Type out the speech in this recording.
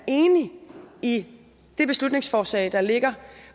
enig i det beslutningsforslag der ligger